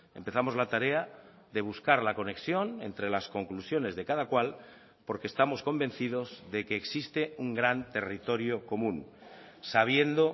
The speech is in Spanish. empezamos la tarea de buscar la conexión entre las conclusiones de cada cual porque estamos convencidos de que existe un gran territorio común sabiendo